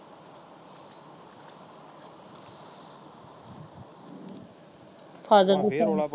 ਹਾਜੇ